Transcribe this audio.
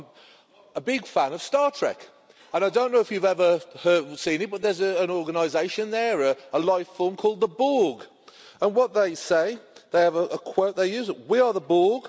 I'm a big fan of Star Trek and I don't know if you've ever seen it but there's an organisation there, a life form called the Borg and what they say, they have a quote they use We are the Borg.